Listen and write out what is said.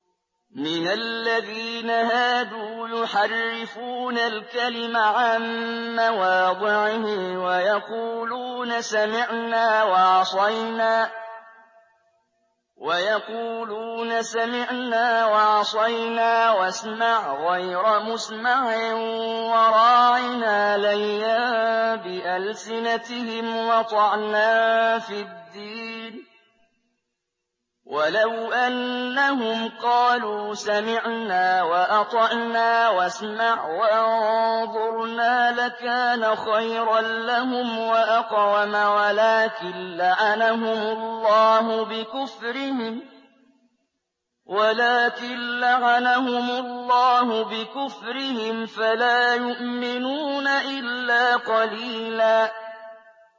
مِّنَ الَّذِينَ هَادُوا يُحَرِّفُونَ الْكَلِمَ عَن مَّوَاضِعِهِ وَيَقُولُونَ سَمِعْنَا وَعَصَيْنَا وَاسْمَعْ غَيْرَ مُسْمَعٍ وَرَاعِنَا لَيًّا بِأَلْسِنَتِهِمْ وَطَعْنًا فِي الدِّينِ ۚ وَلَوْ أَنَّهُمْ قَالُوا سَمِعْنَا وَأَطَعْنَا وَاسْمَعْ وَانظُرْنَا لَكَانَ خَيْرًا لَّهُمْ وَأَقْوَمَ وَلَٰكِن لَّعَنَهُمُ اللَّهُ بِكُفْرِهِمْ فَلَا يُؤْمِنُونَ إِلَّا قَلِيلًا